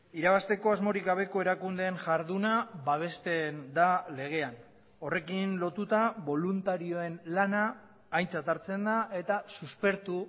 irabazteko asmorik gabeko erakundeen jarduna babesten da legean horrekin lotuta boluntarioen lana aintzat hartzen da eta suspertu